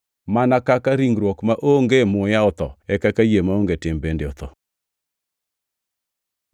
Mana kaka ringruok maonge muya otho, e kaka yie maonge tim bende otho.